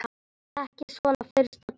Ekki svona fyrsta daginn.